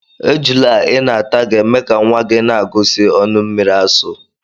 Ejula Ị na-ata ga-eme ka nwa gị na-agụsị ọnụ mmiri asụ.